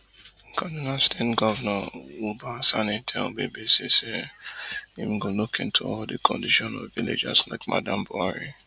kaduna state govnor uba sani tell bbc say im go look into di condition of villagers like madam buhari